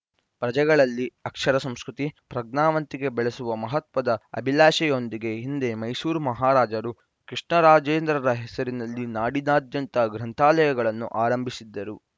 ಪ್ರಜೆಗಳಲ್ಲಿ ಅಕ್ಷರ ಸಂಸ್ಕೃತಿ ಪ್ರಜ್ಞಾವಂತಿಕೆ ಬೆಳೆಸುವ ಮಹತ್ವದ ಅಭಿಲಾಷೆಯೊಂದಿಗೆ ಹಿಂದೆ ಮೈಸೂರು ಮಹಾರಾಜರು ಕೃಷ್ಣರಾಜೇಂದ್ರರ ಹೆಸರಿನಲ್ಲಿ ನಾಡಿನಾದ್ಯಂತ ಗ್ರಂಥಾಲಯಗಳನ್ನು ಆರಂಭಿಸಿದ್ದರು